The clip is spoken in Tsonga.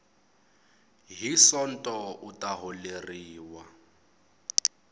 hi sonto u ta holeriwa